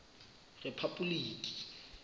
rephapoliki